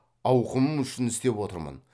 ауқымым үшін істеп отырмын